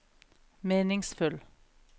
meningsfull